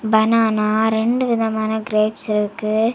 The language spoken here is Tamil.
பனானா ரெண்டு விதமான கிரேப்ஸ் இருக்கு.